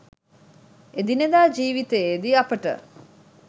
එදිනෙදා ජීවිතයේදී අපට